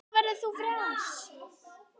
Þá verður þú frjáls.